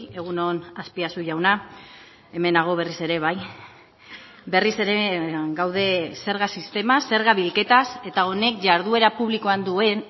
egun on azpiazu jauna hemen nago berriz ere bai berriz ere gaude zerga sistema zerga bilketaz eta honek jarduera publikoan duen